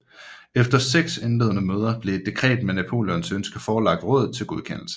Efter seks indledende møder blev et dekret med Napoleons ønsker forelagt rådet til godkendelse